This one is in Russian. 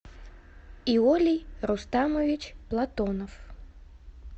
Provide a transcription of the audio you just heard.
иолий рустамович платонов